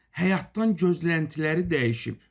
Həyatdan gözləntiləri dəyişib.